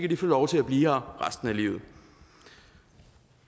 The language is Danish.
de få lov til at blive her resten af livet